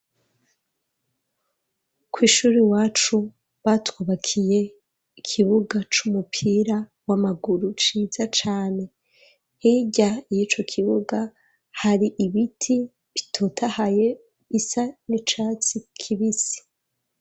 Kw'ishuri iwacu batwubakiye ikibuga c'umupira w'amaguru ciza cane, hirya y'ico kibuga hari ibiti bitotahaye bisa n'icatsi kibisi.